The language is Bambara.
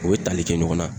U bɛ tali kɛ ɲɔgɔn na